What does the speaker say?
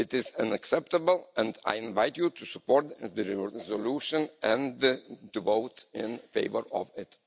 It is unacceptable and I invite you to support the resolution and to vote in favour of it.